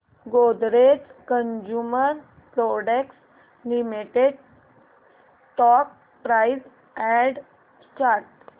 Godrej consumer products limited stock price and chart